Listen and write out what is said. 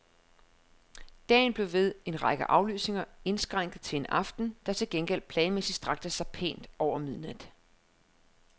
Dagen blev ved en række aflysninger indskrænket til en aften, der til gengæld planmæssigt strakte sig pænt over midnat.